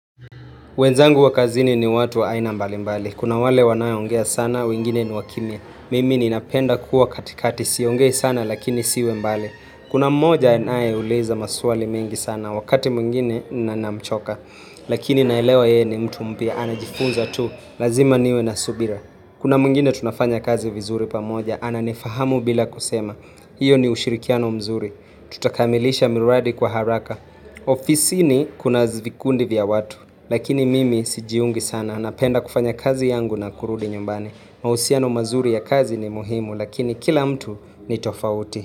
Wenzangu wakazini ni watu aina mbali mbali. Kuna wale wanaye ongea sana, wengine ni wakimia. Mimi ni napenda kuwa katikati, si ongei sana lakini siwe mbali. Kuna mmoja anaeuliza maswali mengi sana, wakati mwingine na ninamchoka. Lakini naelewa yeye ni mtu mpya, anajifunza tu, lazima niwe na subira. Kuna mwingine tunafanya kazi vizuri pamoja, ananifahamu bila kusema. Iyo ni ushirikiano mzuri. Tutakamilisha miradi kwa haraka. Ofisi ni kuna vikundi vya watu. Lakini mimi sijiungi sana, napenda kufanya kazi yangu na kurudi nyumbani mahusiano mazuri ya kazi ni muhimu, lakini kila mtu ni tofauti.